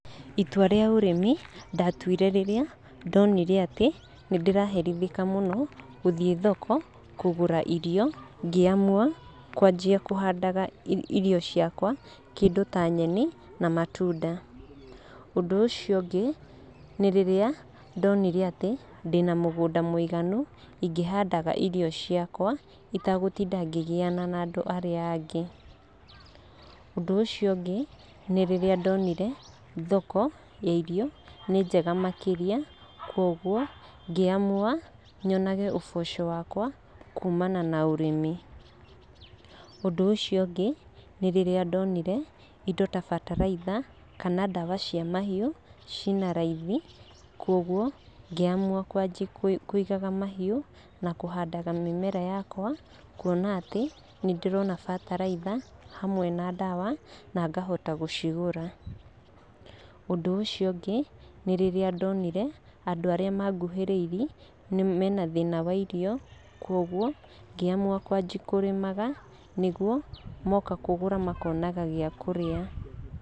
Itua rĩa ũrĩmi ndatuire rĩrĩa ndonire atĩ nĩ ndĩraherithĩka mũno gũthiĩ thoko kũgũra irio, ngĩ amua kwanjia kũhandaga irio ciakwa, kĩndũ ta nyeni na matunda. Ũndũ ũcio ũngĩ, nĩ rĩrĩa ndonire atĩ ndĩna mũgũnda mũiganu ingĩhandaga irio ciakwa, itagũtinda ngĩgiana na andũ arĩa angĩ. Ũndũ ũcio ũngĩ, nĩ rĩrĩa ndonire thoko ya irio ni njega makĩria koguo ngĩ amua nyonage ũboco wakwa kuumana na ũrĩmi. Ũndũ ũcio ũngĩ, nĩ rĩrĩa ndonire indo ta bataraitha kana ndawa cia mahiũ cina raithi kwoguo ngĩ amua kwanjia kũigaga mahiũ na kũhandaga mĩmera yakwa, kuona atĩ nĩ ndĩrona bataraitha hamwe na ndawa na ngahota gũcigũra. Ũndũ ũcio ũngĩ, nĩ rĩrĩa ndonire andũ arĩa manguhĩrĩirie mena thĩna wa irio, kwoguo ngĩ amua kwanjia kũrĩmaga, nĩguo moka kũgũra makonaga gĩa kũrĩa.